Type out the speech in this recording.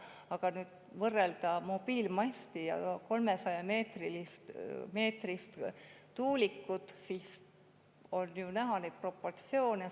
Aga võrrelda mobiilimasti ja 300‑meetrist tuulikut – need proportsioonid on ju näha.